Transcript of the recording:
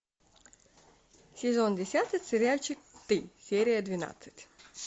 сезон десятый сериальчик ты серия двенадцать